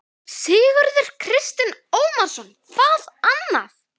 Sigurður Kristinn Ómarsson: Hvað annað?